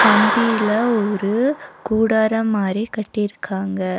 கம்பில ஒரு கூடாரம் மாரி கட்டிருக்காங்க.